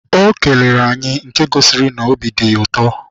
O kelere anyị nke gosiri n'obi dị ya ụtọ.